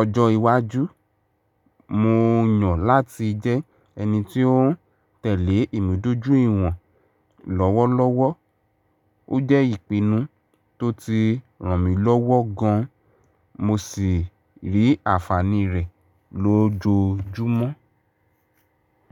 ọjọ́ iwájú, mo yàn láti jẹ́ ẹni tí ó ń tẹ̀lé ìmúdójúìwọ̀n lọ́wọ́lọ́wọ́. Ó jẹ́ ìpinnu tó ti ràn mí lọ́wọ́ gan, mo sì rí ànfàní rẹ̀ lójoojúmọ́.